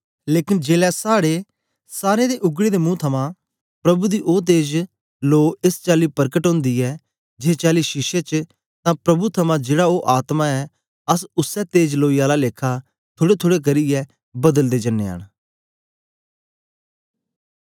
लेकन जेलै साड़े सारें दे उगडे दे मुंह थमां प्रभु दी ओ तेज लो एस चाली परकट ओंदी ऐ जेस चाली शीशे च तां प्रभु थमां जेड़ा ओ आत्मा ऐ अस उसै तेज लोई आला लेखा थुड़ेथुड़े करियै बदलदे जनयां न